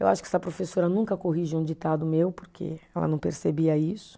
Eu acho que essa professora nunca corrigia um ditado meu, porque ela não percebia isso.